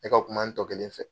Ne ka kuma n tɔ kelen fɛ.